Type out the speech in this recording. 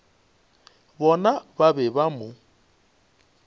bona ba be ba mo